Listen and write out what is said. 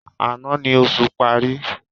Àná ni oṣù parí.